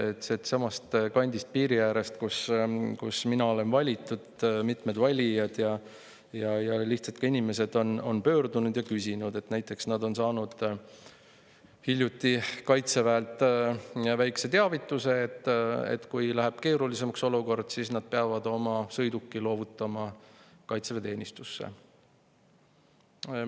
Samast kandist, piiri äärest, kust mina olen valitud, mitmed valijad ja ka lihtsalt inimesed on pöördunud ja küsinud näiteks selle kohta, et nad on saanud hiljuti Kaitseväelt väikese teavituse, et kui olukord läheb keerulisemaks, siis nad peavad oma sõiduki loovutama Kaitseväe.